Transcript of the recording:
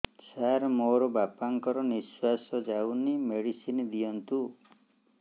ସାର ମୋର ବାପା ଙ୍କର ନିଃଶ୍ବାସ ଯାଉନି ମେଡିସିନ ଦିଅନ୍ତୁ